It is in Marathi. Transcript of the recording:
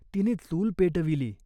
आणि तो घडा जुना होता. किती तरी वर्षांचा.